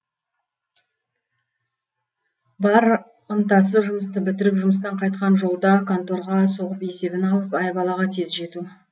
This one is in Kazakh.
бар ынтасы жұмысты бітіріп жұмыстан қайтқан жолда конторға соғып есебін алып айбалаға тез жету